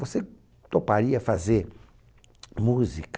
Você toparia fazer música?